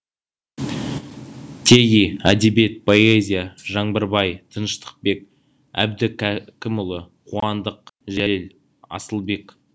теги әдебиет поэзия жаңбырбай тыныштықбек әбдікәкімұлы қуандық жәлел асылбек